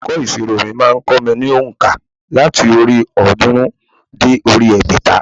Olùkọ́ ìsirò mi má a n kó mi ní ònkà láti orí òódúnrún dé orí egbèta